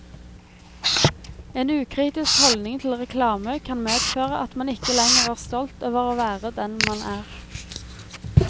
En ukritisk holdning til reklame kan medføre at man ikke lenger er stolt over å være den man er.